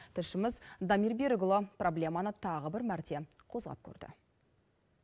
тілшіміз дамир берікұлы проблеманы тағы бір мәрте қозғап көрді